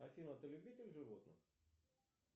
афина ты любитель животных